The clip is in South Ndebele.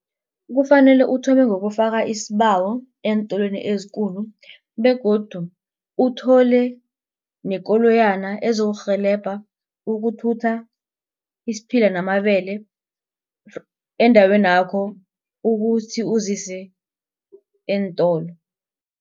Kufanele uthome ngokufaka isibawo eentolweni ezikulu begodu uthole nekoloyana ezokurhelebha ukuthutha isiphila namabele endaweni yakho ukuthi uzise eentolo.